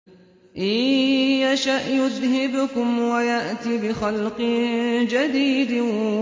إِن يَشَأْ يُذْهِبْكُمْ وَيَأْتِ بِخَلْقٍ جَدِيدٍ